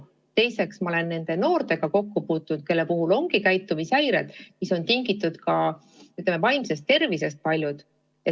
Teiseks, ma olen kokku puutunud nende noortega, kellel on käitumishäired, mis on paljuski tingitud, ütleme, vaimsest tervisest.